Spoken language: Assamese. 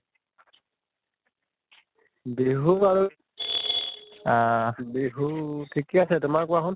বিহু আৰু আহ বিহু ঠিকে আছে তোমাৰ কোৱাচোন?